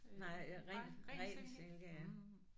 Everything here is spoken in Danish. Nej ren ren silke ja